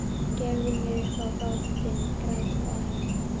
Gefðu mig upp á bátinn, grátbað hann.